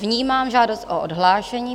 Vnímám žádost o odhlášení.